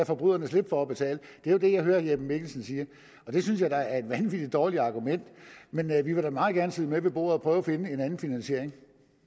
forbryderne slippe for at betale det er jo det jeg hører herre jeppe mikkelsen sige det synes jeg da er et vanvittig dårligt argument men vi vil da meget gerne sidde med ved bordet og prøve at finde en anden finansiering